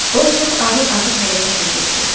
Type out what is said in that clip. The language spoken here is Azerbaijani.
O çox ağır-ağır hərəkət edirdi.